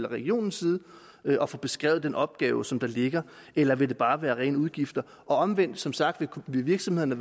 regionens side at at få beskrevet den opgave som der ligger eller vil det bare være rene udgifter og omvendt som sagt vil virksomhederne